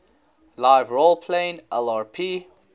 live role playing lrp